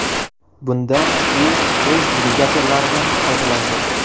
Bunda u o‘z dvigatellaridan foydalandi.